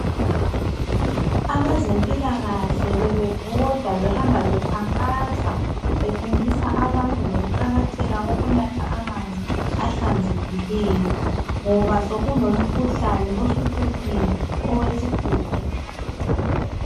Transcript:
abezempilakahle bebebhoda behamba bekhankasa befundisa abantu ngokuqakatheka kokunatha amanzi ahlanzekileyo ngoba sokulomkhuhlane osuhluphile owesihudo